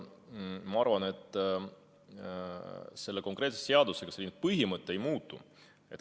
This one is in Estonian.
Ma arvan, et selle konkreetse seaduseelnõuga see põhimõte ei muutu.